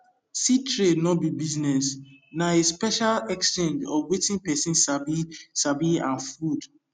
seed trade no be business na a special exchange of wetin person sabi sabi and food